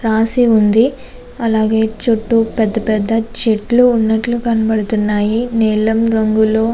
రాసి ఉంది. ఇక్కడ పెద్ద పెద్ద చెట్టులు కనిపిస్తున్నాయి. నీలం రంగు --